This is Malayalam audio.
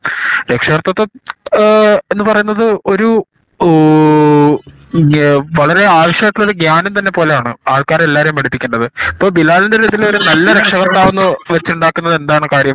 രക്ഷാകർത്തിതം ഏഹ് എന്ന പറയണത് ഒരു ഊ ഇങ്ങു വളരെ അവസായിട്ട് ഉള്ള ഒരു ഗ്യാനം തന്നെ പോലെ ആവണം കാണണം ആൾക്കാരെ എല്ലാരേം അടിപ്പിക്കേണ്ടത് ഇപ്പൊ ബിലാലിന്റെ ഒരു ഇതില് നല്ല രക്ഷാകർത്താവ് എന്ന പറഞ്ഞാൽ വച്ചിണ്ടാക്കുന്നത് എന്താണ് കാര്യം